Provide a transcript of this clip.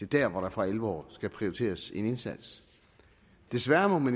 der hvor der for alvor skal prioriteres med en indsats desværre må